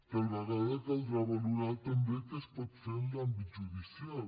tal vegada caldrà valorar també què es pot fer en l’àmbit judicial